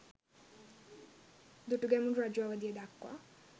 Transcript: දුටුගැමුණු රජු අවදිය දක්වා